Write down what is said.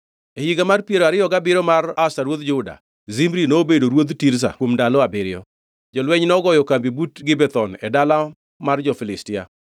E higa mar piero ariyo gabiriyo mar Asa ruodh Juda, Zimri nobedo ruodh Tirza kuom ndalo abiriyo. Jolweny nogoyo kambi but Gibethon e dala mar jo-Filistia.